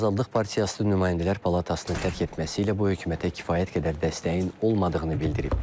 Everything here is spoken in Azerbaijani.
O, Azaldıq Partiyası nümayəndələr palatasını tərk etməsi ilə bu hökumətə kifayət qədər dəstəyin olmadığını bildirib.